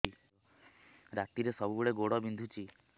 ରାତିରେ ସବୁବେଳେ ଗୋଡ ବିନ୍ଧୁଛି